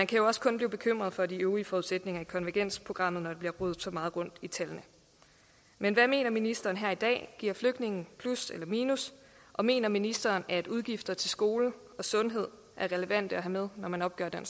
kan jo også kun blive bekymret for de øvrige forudsætninger i konvergensprogrammet når der bliver rodet så meget rundt i tallene men hvad mener ministeren her i dag giver flygtningene plus eller et minus og mener ministeren at udgifterne til skole og sundhed er relevante at have med når man opgør den